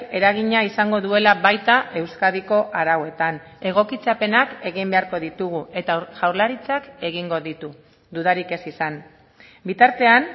eragina izango duela baita euskadiko arauetan egokitzapenak egin beharko ditugu eta jaurlaritzak egingo ditu dudarik ez izan bitartean